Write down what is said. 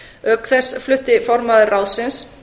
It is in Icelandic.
auk þess flutti formaður ráðsins